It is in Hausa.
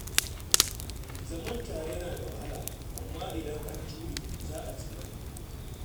Zaman tare yana da wahala, amma idan an jure, za a ji daɗi